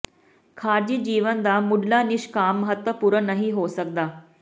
ਖ਼ਾਰਜੀ ਜੀਵਨ ਦਾ ਮੁਢਲਾ ਨਿਸ਼ਕਾਮ ਮਹੱਤਵਪੂਰਨ ਨਹੀਂ ਹੋ ਸਕਦਾ